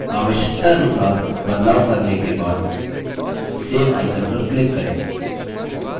आवश्यकतानुसार बदलाव करने के बाद save icon पर click करें